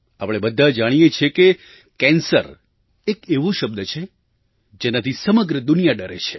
આપણે બધાં જાણીએ છીએ કે કેન્સર એક એવો શબ્દ છે જેનાથી સમગ્ર દુનિયા ડરે છે